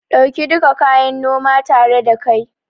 Ɗauki duka kayan noma tare da kai